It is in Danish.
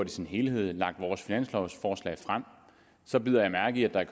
sin helhed har lagt vores finanslovforslag frem så bider jeg mærke i at der i